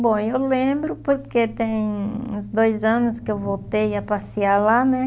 Bom, eu lembro porque tem uns dois anos que eu voltei a passear lá, né?